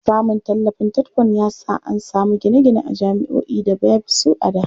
Samun tallafin TETFUND ya sa an samu gine-gine a jami'oi da baby su a da.